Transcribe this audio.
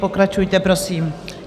Pokračujte prosím.